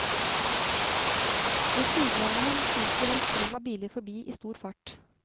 Ved siden av ham fyker en strøm av biler forbi i stor fart.